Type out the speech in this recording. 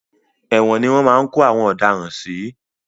Ẹ̀wòn ni wọ́n máa ń kó àwọn ọ̀daràn sí.